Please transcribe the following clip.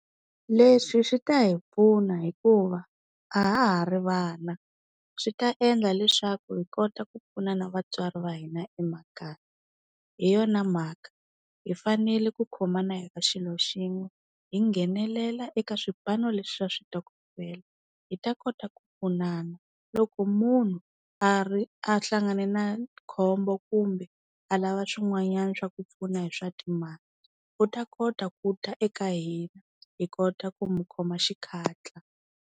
Leswi swi ta hi pfuna hikuva a ha ha ri vana swi ta endla leswaku hi kota ku pfuna na vatswari va hina emakaya. Hi yona mhaka hi fanele ku khomana hi va xilo xin'we hi nghenelela eka swipano leswi swa switokofela, hi ta kota ku pfunana loko munhu a ri a hlangane na khombo kumbe a lava swin'wanyana swa ku pfuna hi swa timali, u ta kota ku ta eka hina hi kota ku mukhoma xikatla.